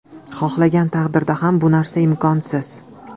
Xohlagan taqdirida ham bu narsa imkonsiz.